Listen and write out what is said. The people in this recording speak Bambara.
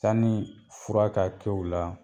Sanni fura ka kɛ u la